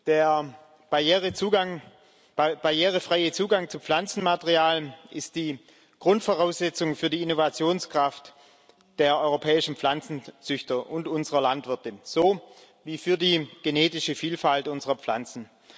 Der barrierefreie Zugang zu Pflanzenmaterialien ist die Grundvoraussetzung für die Innovationskraft der europäischen Pflanzenzüchter und unserer Landwirte sowie für die genetische Vielfalt unserer Pflanzen.